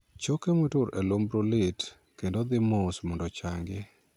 Choke motur e lumbru lit kendo dhii mos mondo ochangi.